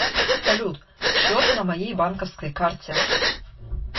салют счет на моей банковской карте